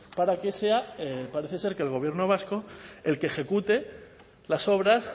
para que sea parece ser el gobierno vasco el que ejecute las obras